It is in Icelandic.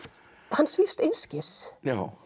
hann svífst einskis